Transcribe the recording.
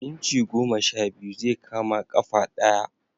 Inci goma sha biyu zai kama ƙafa ɗaya